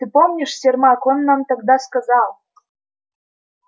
ты помнишь сермак он нам тогда сказал